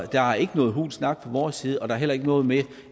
der er ikke noget hul snak fra vores side og der er heller ikke noget med